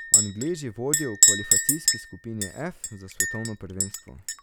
Angleži vodijo v kvalifikacijski skupini F za svetovno prvenstvo.